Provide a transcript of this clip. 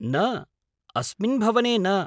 न, अस्मिन् भवने न।